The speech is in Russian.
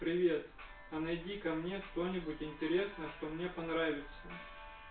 привет а найди-ка мне кто-нибудь интересно что мне понравится